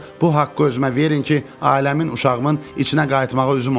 bu haqqı özümə verin ki, ailəmin, uşağımın içinə qayıtmağa üzüm olsun.